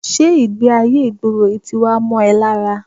Ṣé ìgbé-ayé ìgboro yìí ti wá ń mọ́ ẹ lára?